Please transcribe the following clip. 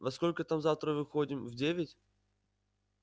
во сколько там завтра выходим в девять